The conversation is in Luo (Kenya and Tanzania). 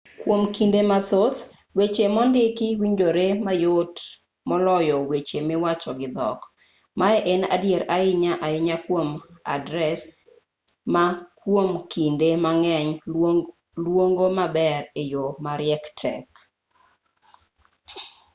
kwom kinde mathoth weche mondiki winjore mayot moloyo weche miwacho gi dhok maye en adier ahinya ahinya kwom adres ma kwom kinde mang'eny luongo maber e yo mariek tek